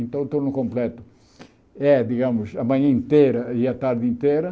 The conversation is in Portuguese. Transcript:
Então, o turno completo é, digamos, a manhã inteira e a tarde inteira.